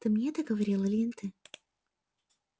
ты мне это говорил или не ты